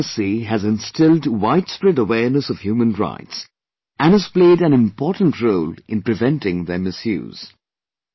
NHRC has instilled widespread awareness of human rights and has played an important role in preventing their misuse